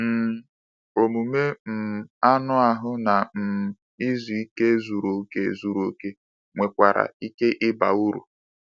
um Omume um anụ ahụ na um izu ike zuru oke zuru oke nwekwara ike ịba uru.